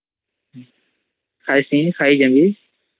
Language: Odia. ଖାଇସୀ ଖାଇଜବୀ